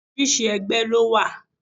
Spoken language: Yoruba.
Oríṣiríṣi ẹgbẹ́ lówà.